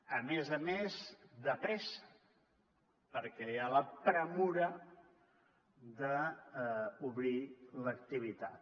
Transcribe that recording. a més a més de pressa perquè hi ha la pressa d’obrir l’activitat